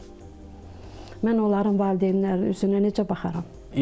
Mən onların valideynləri üzünə necə baxaram?